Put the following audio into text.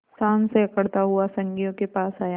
शान से अकड़ता हुआ संगियों के पास आया